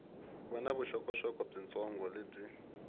va na vuxokoxoko byitsongo lebyi